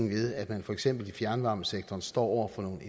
ved at man for eksempel i fjernvarmesektoren står over for nogle